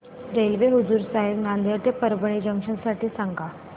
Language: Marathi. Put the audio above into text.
रेल्वे हुजूर साहेब नांदेड ते परभणी जंक्शन साठी सांगा